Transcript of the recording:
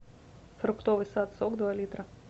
фруктовый сад сок два литра